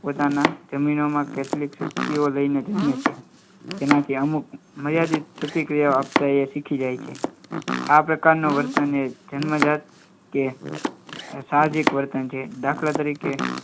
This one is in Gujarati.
પોતાના જમીનોમાં કેટલીક શક્તિઓ લઈને ધન્ય છે જેનાથી અમુક મર્યાદિત પ્રતિક્રિયા આપતા એ શીખી જાય છે આ પ્રકારનું વર્તનને જન્મજાત કે સામાજિક વર્તન છે દાખલા તરીકે